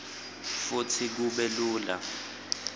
futsi kube lula